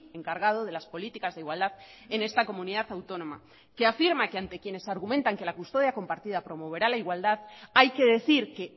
encargado de las políticas de igualdad en esta comunidad autónoma que afirma que ante quienes argumentan que la custodia compartida promoverá la igualdad hay que decir que